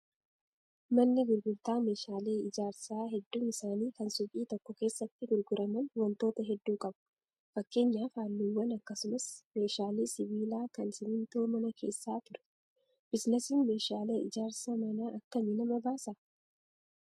Manni gurgurtaa meeshaalee ijaarsaa hedduun isaanii kan suuqii tokko keessatti gurguraman wantoota hedduu qabu. Fakkeenyaaf halluuwwan akkasumas meeshaalee sibiilaa kan simmintoo manaa keessa ture. Biizinasiin meeshaalee ijaarsa manaa akkami nama baasaa?